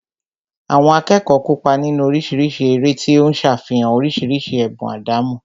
Àwọn akẹ́kọ̀ọ́ kópa nínú oríṣiríṣi eré tí ó ń ṣàfihàn oríṣiríṣi ẹ̀bùn àdámọ́